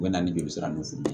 U bɛ na ni joli sira ninnu f